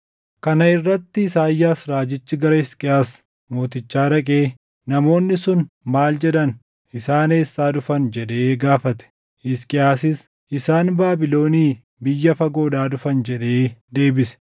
Kana irratti Isaayyaas raajichi gara Hisqiyaas mootichaa dhaqee, “Namoonni sun maal jedhan? Isaan eessaa dhufan?” jedhee gaafate. Hisqiyaasis, “Isaan Baabilonii biyya fagoodhaa dhufan” jedhee deebise.